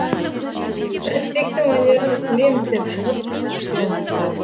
рысбектің өнерін көреміз деп шығып шпион ұстадық